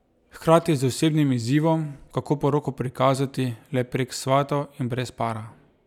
Hkrati z osebnim izzivom, kako poroko prikazati le prek svatov in brez para.